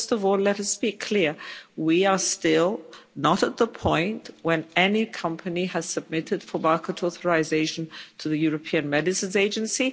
Well first of all, let us be clear, we are still not at the point when any company has submitted for market authorisation to the European Medicines Agency.